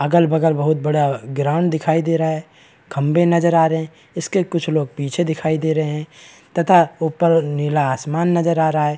अगल-बगल बहुत बड़ा ग्राउंड दिखाई दे रहा है खंबे नजर आ रहे हैं इसके कुछ लोग पीछे दिखाई दे रहे हैं तथा ऊपर नीला आसमान नजर आ रहा है।